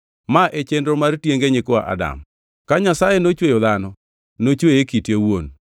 Ma e chenro mar tienge nyikwa Adam. Ka Nyasaye nochweyo dhano, nochweye e kite owuon.